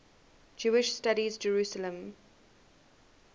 jewish studies jerusalem